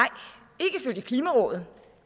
det klimarådet